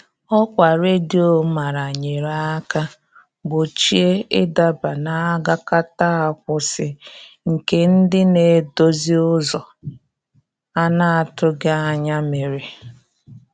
Ọkwa redio mara nyere aka gbochie ị daba n' agakata akwụsị, nke ndị na-edozi ụzọ a na-atụghị anya mere.